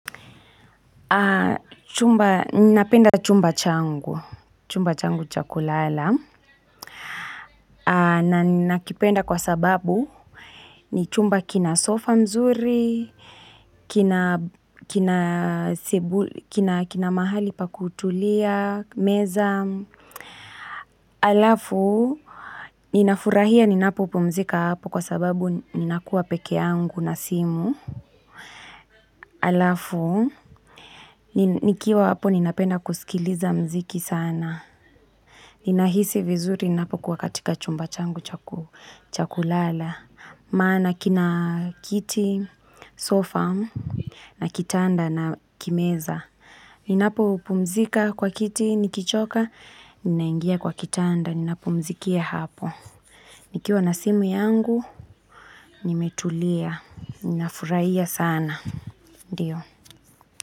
Chumba, ninapenda chumba changu. Chumba changu chakulala. Na ninakipenda kwa sababu, ni chumba kina sofa mzuri, kina mahali pa kutulia, meza. Alafu, ninafurahia ninapopumzika hapo kwa sababu ninakuwa peke yangu na simu. Alafu, nikiwa hapo ninapenda kusikiliza mziki sana. Ninahisi vizuri ninapokuwa katika chumba changu cha kulala. Maana kina kiti, sofa na kitanda na kimeza. Ninapopumzika kwa kiti, nikichoka, ninaingia kwa kitanda, ninapumzikia hapo. Nikiwa na simu yangu, nimetulia, ninafuraia sana. Ndiyo.